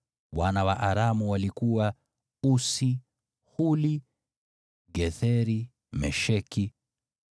Wana wa Aramu walikuwa: Usi, Huli, Getheri na Mesheki.